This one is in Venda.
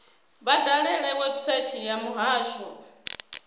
vha dalele website ya muhasho